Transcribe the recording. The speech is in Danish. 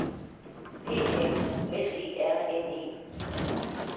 P A U S E R N E